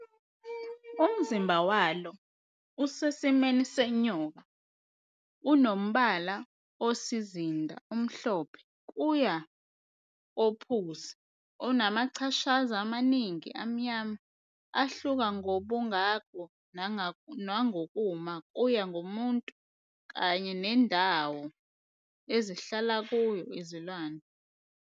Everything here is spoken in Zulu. Umzimba walo osesimweni senyoka unombala osizinda omhlophe kuya kophuzi onamachashaza amaningi amnyama ahluka ngobungako nangokuma kuya ngomuntu kanye nendawo ezihlala kuyo izilwane.